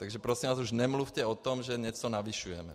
Takže prosím vás, už nemluvte o tom, že něco navyšujeme.